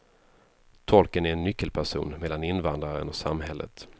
Tolken är en nyckelperson mellan invandraren och samhället.